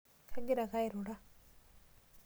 Kagira ake airura.